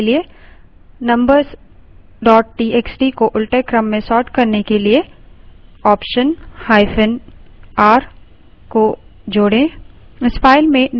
number txt को उलटे क्रम में sort करने के लिए optionr को जोड़ें